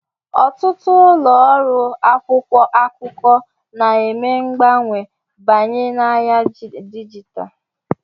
ọtụtụ ụlọ ọrụ akwụkwọ akụkọ na-eme mgbanwe banye n'ahịa dijitalụ